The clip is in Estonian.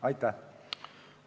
Aitäh!